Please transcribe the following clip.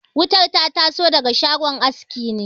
Wutar ta taso daga shagon aski ne